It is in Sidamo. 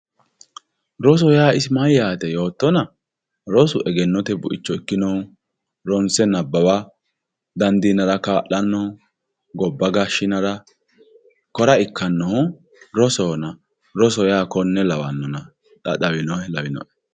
Roso yaa isi mayyaate yoottona rosu egennote buicho ikkino ronse nabbawa dandiinara kaa'lanno. Gobba gashshinara kora ikkannohu rosohona roso yaa konne lawannona xa xawinohe lawinoe.